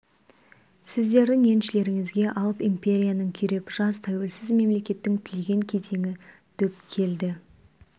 сіздердің еншілеріңізге алып империяның күйреп жас тәуелсіз мемлекеттің түлеген кезеңі дөп келді